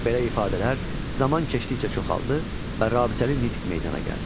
Belə ifadələr zaman keçdikcə çoxaldı və rabitəli nitq meydana gəldi.